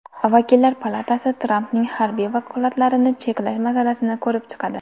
Vakillar palatasi Trampning harbiy vakolatlarini cheklash masalasini ko‘rib chiqadi.